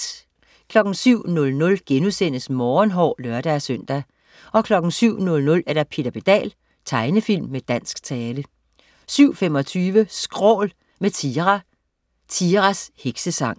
07.00 Morgenhår* (lør-søn) 07.00 Peter Pedal. Tegnefilm med dansk tale 07.25 Skrål, med Tira. Tiras Heksesang